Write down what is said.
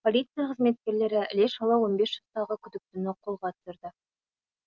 полиция қызметкерлері іле шала он бес жастағы күдіктіні қолға түсірді